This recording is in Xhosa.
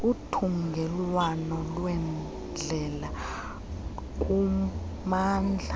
uthungelwano lweendlela kummandla